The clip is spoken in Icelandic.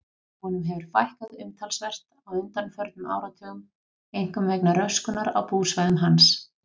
Honum hefur fækkað umtalsvert á undanförnum áratugum, einkum vegna röskunar á búsvæðum hans.